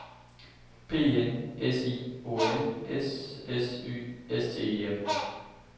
P E N S I O N S S Y S T E M